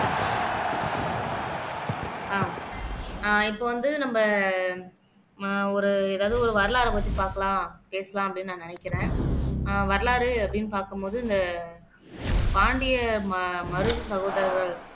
ஆஹ் இப்ப வந்து நம்ம ஆஹ் ஒரு எதாவது ஒரு வரலாறை பத்தி பாக்கலாம் பேசலாம் அப்படின்னு நான் நினைக்கிறேன் அஹ் வரலாறு அப்படின்னு பாக்கும்போது இந்த பாண்டிய ம மருது சகோதரர்கள்